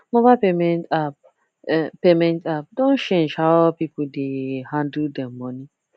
mobile payment app payment app don change how people dey handle dem money